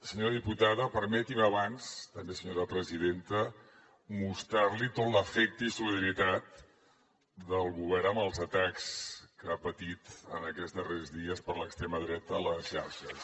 senyora diputada permeti’m abans també senyora presidenta mostrar li tot l’afecte i solidaritat del govern pels atacs que ha patit en aquests darrers dies per l’extrema dreta a les xarxes